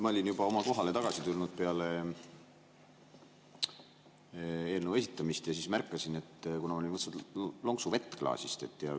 Ma olin juba oma kohale tagasi tulnud peale eelnõu esitamist ja siis meenus, et ma olin võtnud lonksu vett klaasist.